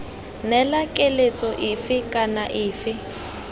neela keletso efe kana efe